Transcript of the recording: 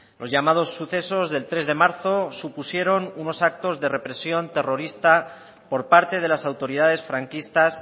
los llamados sucesos del tres de marzo supusieron unos actos de represión terrorista por parte de las autoridades franquistas